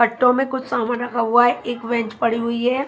पट्टों में कुछ सामान रखा हुआ है एक वेंच पड़ी हुई है।